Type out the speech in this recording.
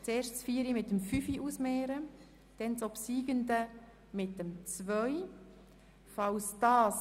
Zuerst stimmen wir über die Ziffern 4 und 5 ab, die Obsiegende stellen wir der Ziffer 2 gegenüber.